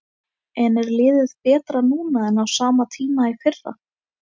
En er liðið betra núna en á sama tíma í fyrra?